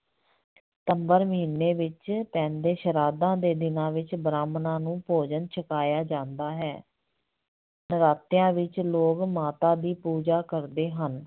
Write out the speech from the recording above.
ਸਤੰਬਰ ਮਹੀਨੇ ਵਿੱਚ ਪੈਂਦੇ ਸ਼ਰਾਧਾਂ ਦੇ ਦਿਨਾਂ ਵਿੱਚ ਬ੍ਰਾਹਮਣਾਂ ਨੂੰ ਭੋਜਨ ਛਕਾਇਆ ਜਾਂਦਾ ਹੈ ਨਰਾਤਿਆਂ ਵਿੱਚ ਲੋਕ ਮਾਤਾ ਦੀ ਪੂਜਾ ਕਰਦੇ ਹਨ।